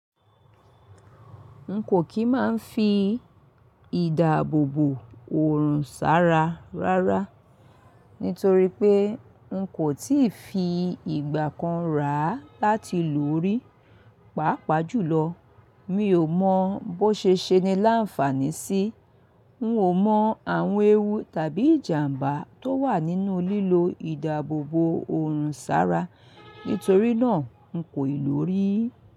N kò kí máa ń fi ìdáàbòbò òrùn sára rárá nítorí pé n kò tíì fi ìgbà kan rà á láti lò ó rí. Pàápàá jùlọ, mi ò mọ bó ṣe ṣe ni láǹfààní sí. N ò mọ àwọn ewu tàbí ìjàǹbá tó wà nínú lílo ìdáàbòbò òrùn sára nítorí náà n kò ì lò ó rí.